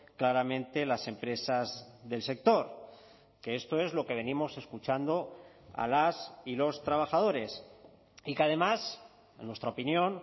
claramente las empresas del sector que esto es lo que venimos escuchando a las y los trabajadores y que además en nuestra opinión